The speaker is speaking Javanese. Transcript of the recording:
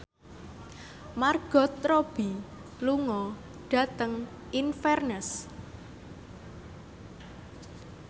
Margot Robbie lunga dhateng Inverness